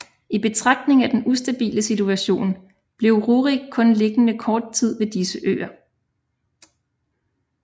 I betragtning af den ustabile situation blev Rjurik kun liggende kort tid ved disse øer